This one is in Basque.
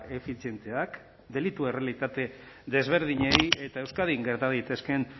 efizienteak delitu errealitate desberdinei eta euskadin gerta daitezkeen